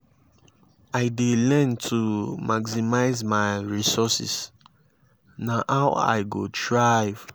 i dey learn to maximize my resources; na how i go thrive.